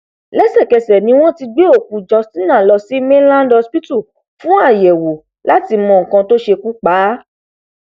lẹsẹkẹsẹ ni wọn ti gbé òkú justina lọ sí mainland hospital fún àyẹwò láti mọ nǹkan tó ṣekú pa á